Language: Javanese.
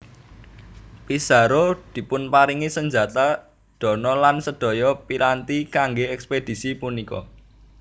Pizarro dipunparingi senjata dana lan sedaya piranti kangge ekspedisi punika